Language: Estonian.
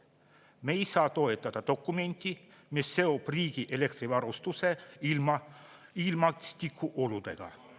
Me ei saa toetada dokumenti, mis seob riigi elektrivarustuse ilmastikuoludega.